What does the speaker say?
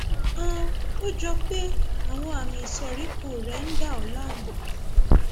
um ó jọ pé àwọn àmì ìsoríkọ rẹ ń dà ọ láàmú